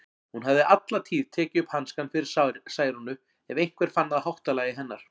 Hún hafði alla tíð tekið upp hanskann fyrir Særúnu ef einhver fann að háttalagi hennar.